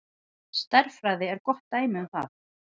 Stærðfræði er gott dæmi um það.